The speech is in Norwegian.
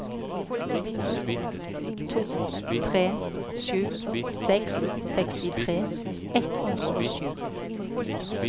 to tre sju seks sekstitre ett hundre og sju